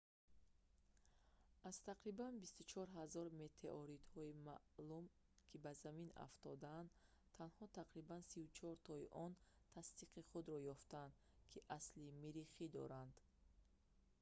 аз тақрибан 24 000 метеоритҳои маълум ки ба замин афтодаанд танҳо тақрибан 34-тои онҳо тасдиқи худро ёфтанд ки асли миррихӣ доранд